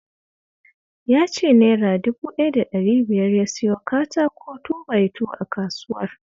Ya ce Naira dubu ɗaya da ɗari biyar ya siyo katako 2-by-2 a kasuwar